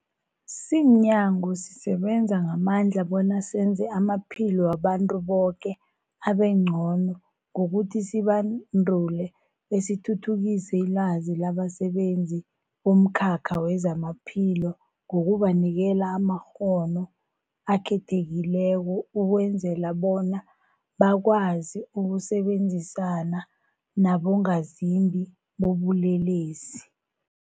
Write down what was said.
Simnyango, sisebenza ngamandla bona senze amaphilo wabantu boke abengcono ngokuthi sibandule besithuthukise ilwazi labasebenzi bomkhakha wezamaphilo ngokubanikela amakghono akhethekileko ukwenzela bona bakwazi ukusebenzisana nabongazimbi bobulelesi.